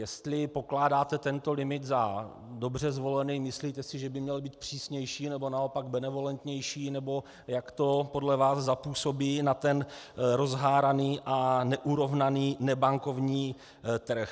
Jestli pokládáte tento limit za dobře zvolený, myslíte si, že by měl být přísnější, nebo naopak benevolentnější, nebo jak to podle vás zapůsobí na ten rozháraný a neurovnaný nebankovní trh.